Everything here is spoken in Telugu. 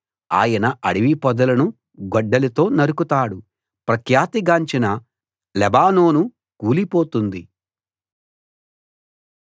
ఆయన అడవి పొదలను గొడ్డలితో నరుకుతాడు ప్రఖ్యాతిగాంచిన లెబానోను కూలిపోతుంది